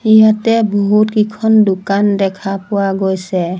ইয়াতে বহুত কেইখন দোকান দেখা পোৱা গৈছে।